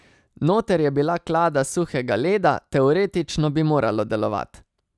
Noter je bila klada suhega leda, teoretično bi moralo delovat.